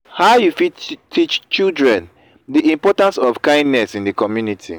how you fit teach children di importance of kindness in di community?